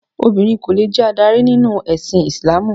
Obìnrin kò lè jẹ adarí nínú ẹ̀sìn Ìsìlámù.